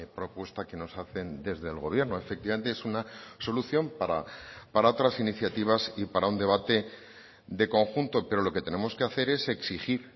propuesta que nos hacen desde el gobierno efectivamente es una solución para otras iniciativas y para un debate de conjunto pero lo que tenemos que hacer es exigir